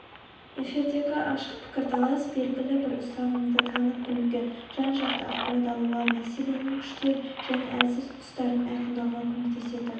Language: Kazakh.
эфирдегі ашық пікірталас белгілі бір ұстанымды танып білуге жан-жақты ақпарат алуға мәселенің күшті және әлсіз тұстарын айқындауға көмектеседі